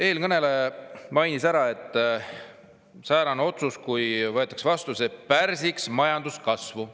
Eelkõneleja mainis, et kui säärane otsus vastu võetakse, siis see pärsiks majanduskasvu.